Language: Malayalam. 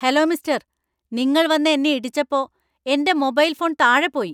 ഹലോ മിസ്ടര്‍, നിങ്ങള്‍ വന്ന് എന്നെ ഇടിച്ചപ്പോ എന്‍റെ മൊബൈൽ ഫോൺ താഴെ പോയി .